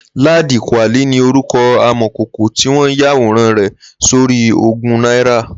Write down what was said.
Ladi Kwali ni órùkọ̀ àmọ̀kókó tiwọn yàwórán rẹ sóri ógùn nàirá